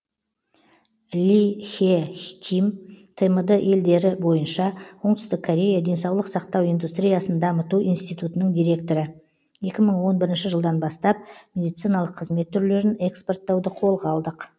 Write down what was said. ли хе ким тмд елдері бойынша оңтүстік корея денсаулық сақтау индустриясын дамыту институтының директоры екі мың он бірінші жылдан бастап медициналық қызмет түрлерін экспорттауды қолға алдық